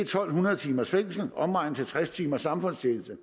to hundrede timers fængsel omregnet til tres timers samfundstjeneste